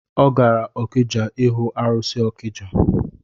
Ọ gara okija ihu arụsị ọkija